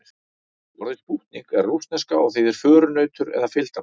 Orðið spútnik er rússneska og þýðir förunautur eða fylgdarmaður.